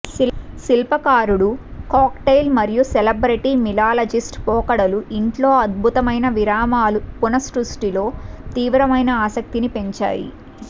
శిల్పకారుడు cocktail మరియు celebrity mixologist పోకడలు ఇంట్లో అద్భుతమైన విరామాలు పునఃసృష్టిలో తీవ్రమైన ఆసక్తిని పెంచాయి